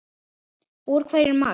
Úr hverju er Mars?